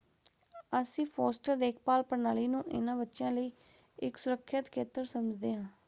ਅਸੀਂ ਫੋਸਟਰ ਦੇਖਭਾਲ ਪ੍ਰਣਾਲੀ ਨੂੰ ਇਹਨਾਂ ਬੱਚਿਆਂ ਲਈ ਇੱਕ ਸੁਰੱਖਿਅਤ ਖੇਤਰ ਸਮਝਦੇ ਹਾਂ।